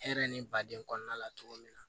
Hɛrɛ ni baden kɔnɔna la cogo min na